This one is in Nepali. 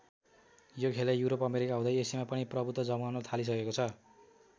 यो खेलले युरोप अमेरिका हुँदै एसियामा पनि प्रभुत्व जमाउन थालिसकेको छ।